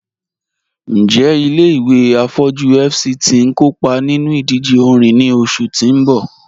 Njẹ̀ ilẹ̀-ìwé afọjú FCT n kọọpa nínú ìdíjè òrìṅ ni oṣù tì n bọ́?